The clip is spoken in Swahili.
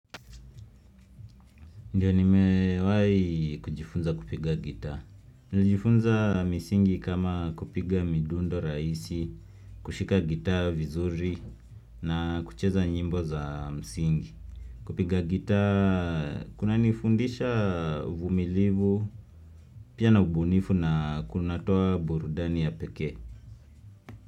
Ndiyo nimewai kujifunza kupiga gitaa. Nilijifunza misingi kama kupiga midundo raisi, kushika gitaa vizuri na kucheza nyimbo za msingi. Kupiga gitaa, kunanifundisha uvumilivu, pia na ubunifu na kunatoa burudani ya pekee.